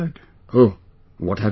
Oh...what have you said